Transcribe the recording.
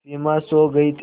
सिमा सो गई थी